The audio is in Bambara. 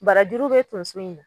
Barajuru be tonso in na